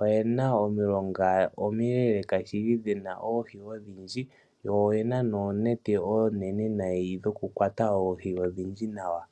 oye na omilonga omileeleka dhi na oohi odhindji yo oye na wo oonete oonene dhokukwata oohi odhindji nawa.